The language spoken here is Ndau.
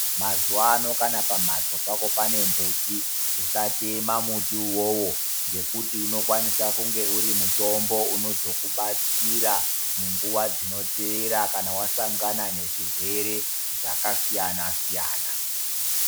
Mazuwano kana pambatso pako pane mbuti usatemba mbuti uwowo ngekuti unokwanisa kunge unokwanisa kunge uri mutombo unozokudetsera munguwa dzinotevera kana wasangana nezvirwere zvakasiyana siyana.